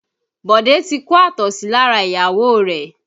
Bode ti kó àtọ̀sí lára ìyàwó rẹ̀